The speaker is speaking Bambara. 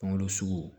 Kungolo sugu